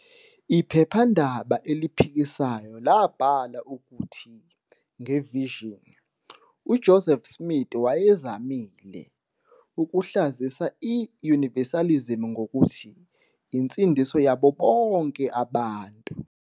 Iphephandaba eliphikisayo labhala ukuthi "nge-Vision" uJoseph Smith wayezamile " "ukuhlazisa i-" Universalism ngokuthi insindiso yabo bonke abantu."